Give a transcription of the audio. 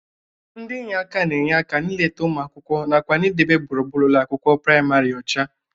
Ndị inye aka na-enye aka na-ileta ụmụ akwụkwọ nakwa na-idebe gbụrugbụru ụlọ akwụkwọ prịmarị ọcha.